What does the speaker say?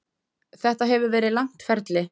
Þetta hefur verið langt ferli.